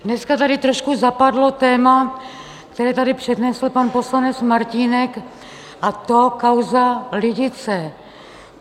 Dneska tady trošku zapadlo téma, které tady přednesl pan poslanec Martínek, a to kauza Lidice.